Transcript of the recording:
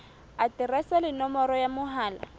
aterese le nomoro ya mohala